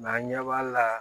an ɲɛ b'a la